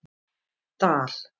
Dal